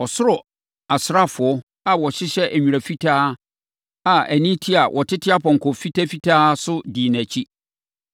Ɔsoro asraafoɔ a wɔhyehyɛ nwera fitaa a ani te a wɔtete apɔnkɔ fitafitaa so dii nʼakyi.